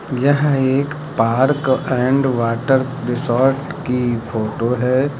यह एक park and water resort की फोटो है।